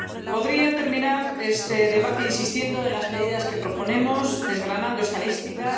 Podría terminar este debate insistiendo en las medidas que proponemos, desgranando estadísticas.